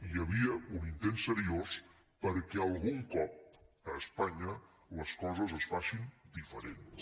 hi havia un intent seriós perquè algun cop a espanya les coses es facin diferents